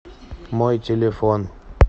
мой телефон